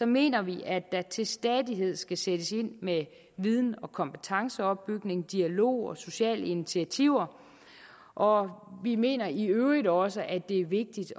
mener vi at der til stadighed skal sættes ind med viden og kompetenceopbygning dialog og sociale initiativer og vi mener i øvrigt også at det er vigtigt